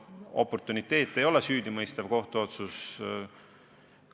Oportuniteet ei ole süüdimõistev kohtuotsus.